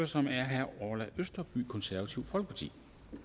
som er herre orla østerby konservative folkeparti